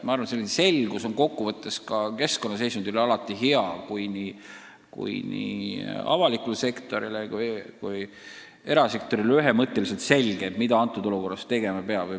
Ma arvan, et selline selgus mõjub kokkuvõttes ka keskkonnaseisundile alati hästi, kui nii avalikule sektorile kui erasektorile on ühemõtteliselt selge, mida konkreetses olukorras tegema peab.